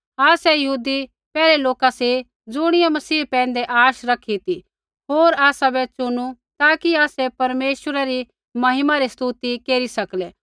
आसै यहूदी पैहलै लोका सी ज़ुणियै मसीह पैंधै आश रखी ती होर आसाबै चुनू ताकि आसै परमेश्वरा री महिमा री स्तुति केरी सकलै